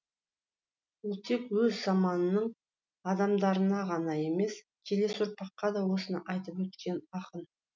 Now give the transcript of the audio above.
ол тек өз заманының адамдарына ғана емес келесі ұрпаққа да осыны айтып өткен ақын